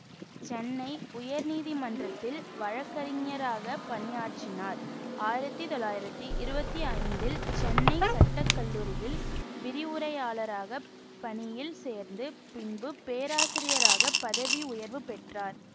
சென்னை உயர்நீதிமன்றத்தில் வழக்கறிஞராகப் பணியாற்றினார் ஆயிரத்தி தொள்ளாயிரத்தி இருபத்தி ஐந்தில் சென்னைச் சட்டக்கல்லூரியில் விரிவுரையாளராகப் பணியில் சேர்ந்து பின்பு பேராசிரியராக பதவி உயர்வு பெற்றார்